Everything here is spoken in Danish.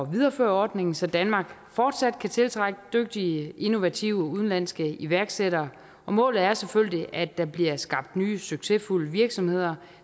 videreføre ordningen så danmark fortsat kan tiltrække dygtige innovative udenlandske iværksættere målet er selvfølgelig at der bliver skabt nye succesfulde virksomheder